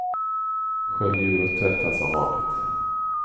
Skölj ur och tvätta som vanligt.